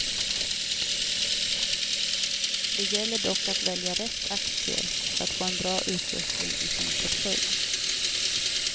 Det gäller dock att välja rätt aktier för att få en bra utveckling i sin portfölj.